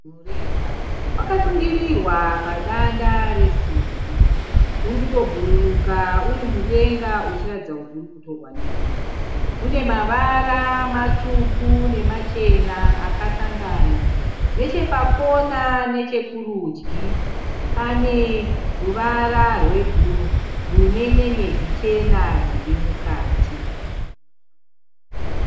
Mureza. Wakasungiriwa padanda resimbi. Uri kutobhururuka uri mudenga uchiratidza kuti uri kutorwa nemhepo. Unevara matsvuku nemachena akasangana. Nechepakona nechekurudyi pane ruvara rwebhuruu rune nyenyedzi chena dziri mukati.